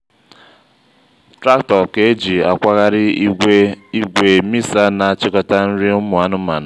traktọ ka eji na-akwaghari ịgwe misa n'achikọta nri ụmụ anụmanụ